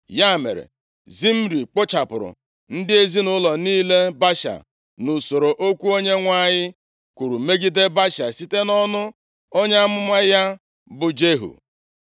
Ya mere, Zimri kpochapụrụ ndị ezinaụlọ niile Baasha, nʼusoro okwu Onyenwe anyị kwuru megide Baasha site nʼọnụ onye amụma ya bụ Jehu.